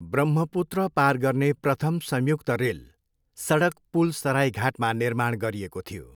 ब्रह्मपुत्र पार गर्ने प्रथम संयुक्त रेल, सडक पुल सराइघाटमा निर्माण गरिएको थियो।